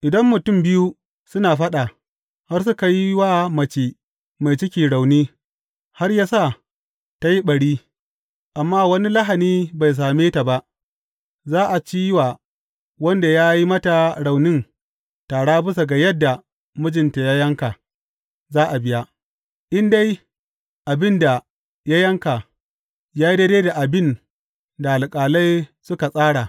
Idan mutum biyu suna faɗa, har suka yi wa mace mai ciki rauni, har ya sa ta yi ɓari, amma wani lahani bai same ta ba, za a ci wa wanda ya yi mata raunin tara bisa ga yadda mijinta ya yanka za a biya, in dai abin da ya yanka ya yi daidai da abin da alƙalai suka tsara.